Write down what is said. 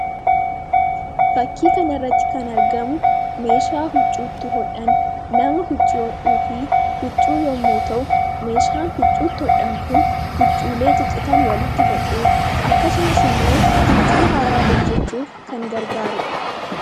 fakkii kana irratti kan argamu meeshaa huccuutti hodhan nama huccuu hodhuu fi huccuu yommuu ta'u meeshaan huccuuti hodhan kun huccuulee ciccitan walitti hodhuu akkasumas immoo huccuu haaraa hojjechuuf kan gargaarudha